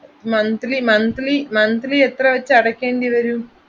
Monthly monthly monthly എത്ര വെച്ച് അടക്കേണ്ടി വരും?